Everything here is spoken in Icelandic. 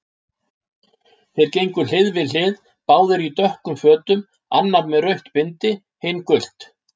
Þeir gengu hlið við hlið, báðir í dökkum fötum, annar með rautt bindi, hinn gult.